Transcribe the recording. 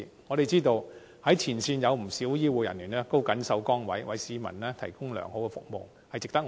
我們知道，前線有不少醫護人員都謹守崗位，為市民提供良好服務，值得讚賞。